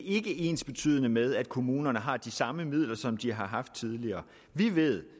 ikke ensbetydende med at kommunerne har de samme midler som de har haft tidligere vi ved